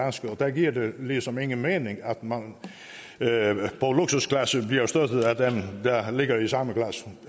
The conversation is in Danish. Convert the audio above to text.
da giver det ligesom ingen mening at man på luksusklasse bliver støttet af nogle der ligger i samme klasse